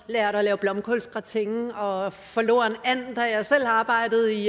at lave blomkålsgratin og forloren and da jeg selv arbejdede i